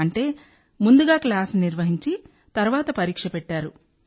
అంటే ముందుగా క్లాస్ నిర్వహించి తర్వాత పరీక్ష పెట్టారు